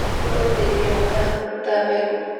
Nĩguo ũteithie mũmera kũruta mbegũ.